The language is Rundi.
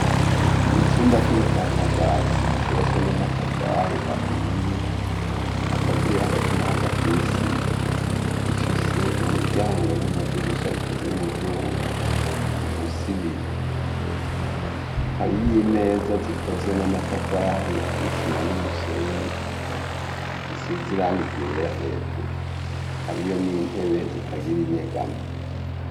Mu cumba c'ubushakashatsi cubatswe n'amatafari ahiye akaziye hagati na hagati n'isima. Gifise umuryango n'amadirisha bikoze mu vyuma bifise ibiyo. Hariyo imeza zikoze n'amatafari n'isima n'umusenyi zisize irangi ryera hejuru. Hariyo n'intebe zitagira inyegamo.